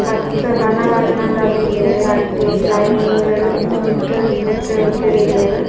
ಮಸ್ತ್ ಬಣ್ಣ ಬಣ್ಣದ ದೀತೆರ್ ಅಟ್ಟಿ ಲೈನ್ ಡ್ ಮಿತ್ತ್ ಮಿತ್ತ್ ಮಿತ್ತ್ ದೀತೆರ್.